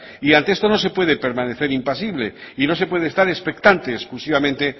y ante esto no se puede permanecer impasible y no se puede estar expectante exclusivamente